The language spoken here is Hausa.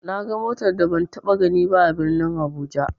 Naga motar da ban taɓa ganiba a birnin abuja.